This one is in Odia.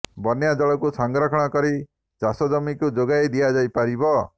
ବନ୍ୟା ଜଳକୁ ସଂରକ୍ଷଣ କରି ଚାଷ ଜମିକୁ ଯୋଗାଇ ଦିଆଯାଇ ପାରିବ